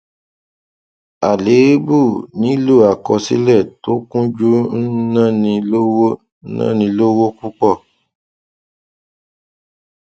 àléébù nílò àkọsílẹ tó kúnjú ń náni lówó náni lówó púpọ